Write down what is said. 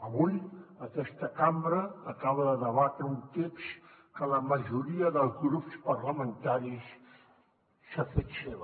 avui aquesta cambra acaba de debatre un text que la majoria dels grups parlamentaris s’ha fet seu